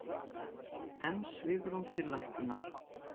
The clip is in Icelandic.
Enn svigrúm til lækkunar